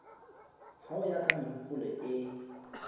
ho ya ka mehopolo e